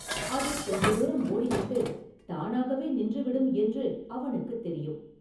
அது கொஞ்ச தூரம் ஓடிவிட்டுத் தானாகவே நின்று விடும் என்று அவனுக்குத் தெரியும்.